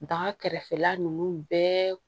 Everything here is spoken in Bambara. Baga kɛrɛfɛla ninnu bɛɛ